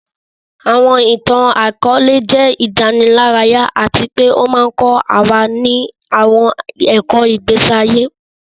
Àwọn ìtàn-àkóòlẹ̀ jẹ ìdánilárayá àti pe o ma n kọ wa ni àwọn ẹ̀kọ́ ìgbésí ayé